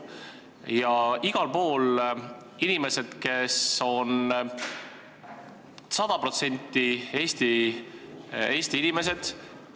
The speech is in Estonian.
Ja igal pool on need inimesed, kes on 100% Eesti inimesed.